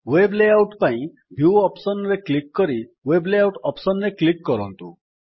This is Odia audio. ୱେବ୍ ଲେଆଉଟ୍ ପାଇଁ ଭ୍ୟୁ ଅପ୍ସନ୍ ରେ କ୍ଲିକ୍ କରି ୱେବ୍ ଲେଆଉଟ୍ ଅପ୍ସନ୍ ରେ କ୍ଲିକ୍ କରନ୍ତୁ